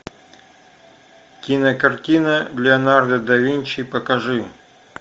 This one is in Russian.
кинокартина леонардо да винчи покажи